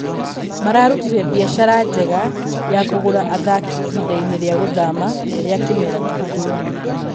mararutire biacara njega ya kũgũra athaki ihindainĩ rĩa gũthama rĩa kĩmera kĩhĩtũku